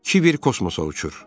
Kiber kosmosa uçur.